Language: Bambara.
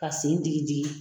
Ka sen digi digi.